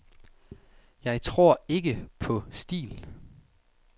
Jeg tror ikke på stil.